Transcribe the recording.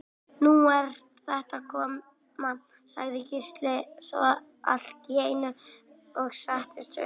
Nú er þetta að koma, sagði Gísli svo allt í einu og settist upp.